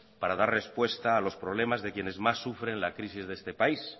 para dar respuesta a los problemas de quienes más sufren la crisis de este país